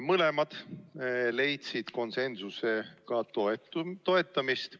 Mõlemad leidsid konsensusega toetust.